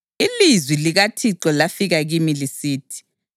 Ilizwi likaThixo lafika kimi lisithi: